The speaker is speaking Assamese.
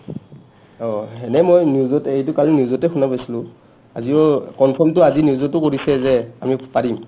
অ এনে মই news ত এইটো কালি news তে শুনা পাইছিলো আজিঔ confirm টো আজি news তো কৰিছে যে আমি পাৰিম